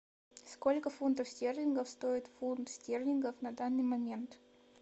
сколько фунтов стерлингов стоит фунт стерлингов на данный момент